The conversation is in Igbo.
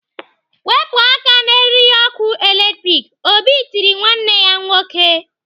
"Wepụ aka n'eriri ọkụ latrik!" Obi tiri nwanne ya nwoke.